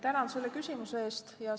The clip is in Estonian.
Tänan selle küsimuse eest!